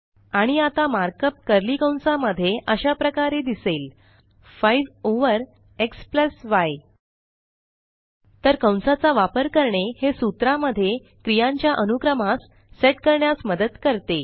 आणि आता markup curly कंसा मध्ये अशा प्रकारे दिसेल160 5 ओव्हर xy तर कंसाचा वापर करणे हे सूत्रा मध्ये क्रियांच्या अनुक्रमास सेट करण्यास मदत करते